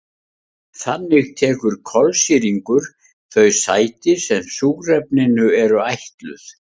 Þannig tekur kolsýrlingur þau sæti sem súrefninu eru ætluð.